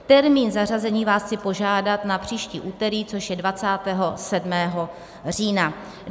Termín zařazení vás chci požádat na příští úterý, což je 27. října.